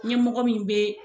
Ɲɛmɔgɔ min be